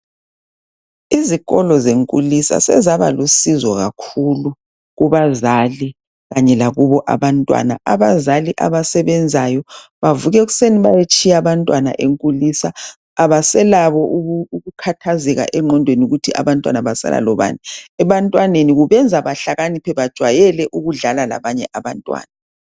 Izikolo zenkulisa sezabalusizo kakhulu kubazali kanye lakubo abantwana. Abazali abasebenzayo bavuka ekuseni bayetshiya abantwana enkulisa abaselakho ukukhathazeka engqondweni ukuba abantwana basala lobani. Ebantwaneni kubenza bahlakaniphe bajayela ukudlala labanye abantwana.